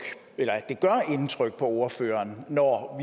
indtryk på ordføreren når